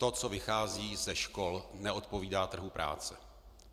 To, co vychází ze škol, neodpovídá trhu práce.